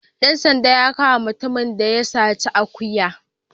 Dan sandan ya kama mutumin da ya saci akuyar.